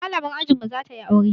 Malamar ajin mu za ta yi aure